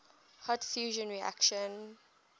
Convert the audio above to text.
hot fusion reactions